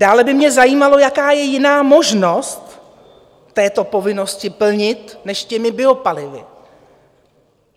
Dále by mě zajímalo, jaká je jiná možnost tuto povinnost plnit než těmi biopalivy.